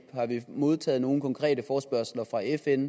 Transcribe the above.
har vi modtaget nogen konkrete forespørgsler fra fn